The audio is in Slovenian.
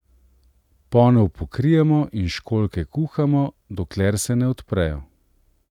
Ponev pokrijemo in školjke kuhamo, dokler se ne odprejo.